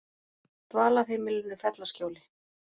Dvalarheimilinu Fellaskjóli